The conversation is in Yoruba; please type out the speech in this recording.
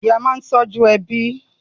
Ìyá máa ń tọ́jú ẹbí.